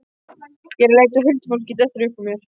Ég er að leita að huldufólki, dettur upp úr mér.